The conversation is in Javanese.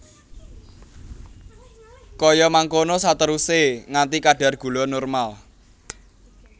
Kaya mangkono saterusé nganti kadar gula normal